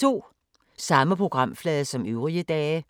Samme programflade som øvrige dage